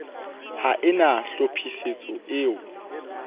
ha e na tlhophisetso eo